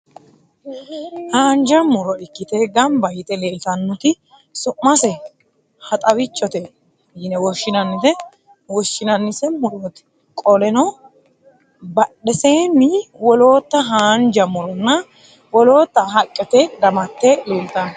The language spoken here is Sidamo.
Haanja mu'ro ikkite gamba yite leeltannoti su'mase haxaawichote yine woshshinannise murooti. Qoleno badheeseenni wolootta haanja mu'ronna wolootta haqqete damatte leeltanno.